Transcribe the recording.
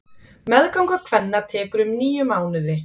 Meðganga kvenna tekur um níu mánuði.